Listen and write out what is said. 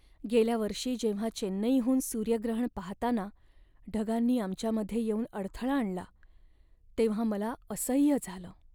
गेल्या वर्षी जेव्हा चेन्नईहून सूर्यग्रहण पाहताना ढगांनी आमच्यामध्ये येऊन अडथळा आणला तेव्हा मला असह्य झालं.